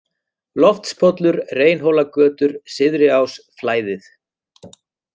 Loftspollur, Reynhólagötur, Syðriás, Flæðið